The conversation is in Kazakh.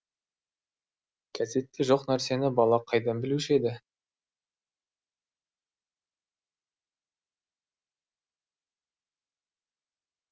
кәзетте жоқ нәрсені бала қайдан білуші еді